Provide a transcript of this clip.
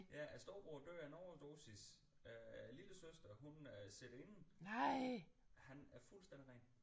Ja storebroren dør af en overdosis øh lillesøsteren hun øh sidder inde han er fuldstændig ren